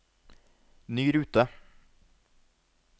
ny rute